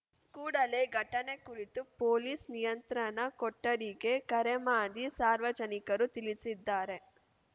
ಕೂಡಲೇ ಘಟನೆ ಕುರಿತು ಪೊಲೀಸ್‌ ನಿಯಂತ್ರಣ ಕೊಠಡಿಗೆ ಕರೆ ಮಾಡಿ ಸಾರ್ವಜನಿಕರು ತಿಳಿಸಿದ್ದಾರೆ